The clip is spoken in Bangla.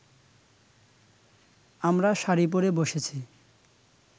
আমরা শাড়ি পড়ে বসেছি